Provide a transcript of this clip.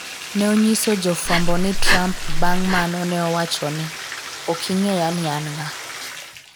ne onyiso jofwambo ni Trump bang' mano ne owachone,'ok ing'eya ni an ng'a?'